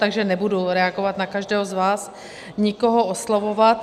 Takže nebudu reagovat na každého z vás, nikoho oslovovat.